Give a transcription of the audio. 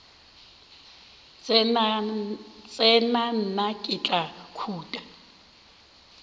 tsena nna ke tla khuta